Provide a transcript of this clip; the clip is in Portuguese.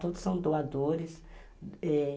Todos são doadores.